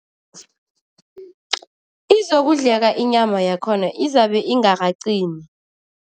Izokudleka inyama yakhona, izabe ingaqini.